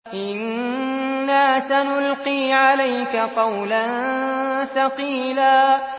إِنَّا سَنُلْقِي عَلَيْكَ قَوْلًا ثَقِيلًا